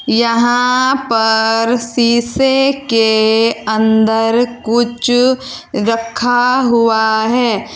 यहां पर सीसे के अंदर कुछ रखा हुआ है।